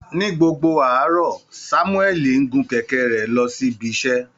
Ní gbogbo àárọ̀, Sámúẹ́lì ń gun kẹ̀kẹ́ rẹ̀ lọ síbi iṣẹ́